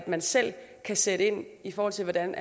man selv kan sætte ind i forhold til hvordan